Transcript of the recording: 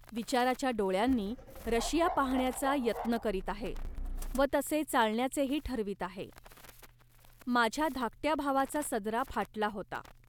विचाराच्या डोळ्यांनी रशिया पाहण्याचा यत्न करीत आहे व तसे चालण्याचेही ठरवीत आहे. माझ्या धाकट्या भावाचा सदरा फाटला होता